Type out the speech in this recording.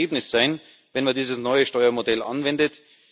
Das wird das Ergebnis sein, wenn man dieses neue Steuermodell anwendet.